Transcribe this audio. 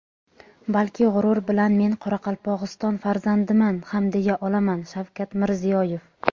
balki g‘urur bilan men Qoraqalpog‘iston farzandiman ham deya olaman – Shavkat Mirziyoyev.